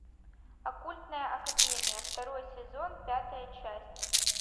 оккультная академия второй сезон пятая часть